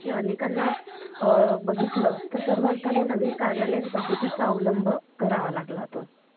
आणि आपल्या पैकी अनेकांना अ बघितलं तर सर्वार्थाने नवीन कार्यालय पद्धतीचा अवलंब करावा लागला